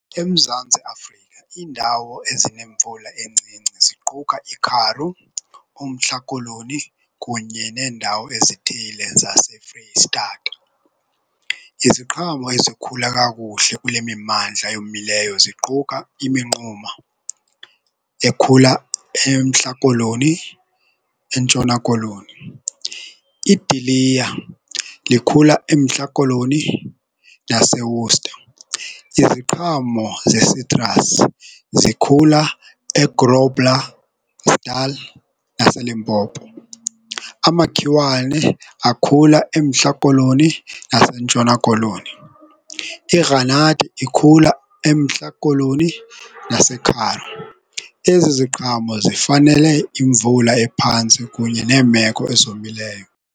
EMzantsi Afrika iindawo ezinemvula encinci ziquka iKaroo, uMntla Koloni kunye neendawo ezithile zase Freyi Stata. Iziqhamo ezikhula kakuhle kule mimmandla eyomileyo ziquka iminquma ekhula eMntla Koloni, eNtshona koloni. Idiliya likhula eMntla Koloni naseWorcester. Iziqhamo ze-citrus zikhula eGrobler, Natal naseLimpopo. Amakhiwane akhula eMntla Koloni zaseNtshona Koloni. Igranathi ikhula eMntla Koloni naseKaroo. Ezi ziqhamo zifanele imvula ephantsi kunye neemeko ezomileyo.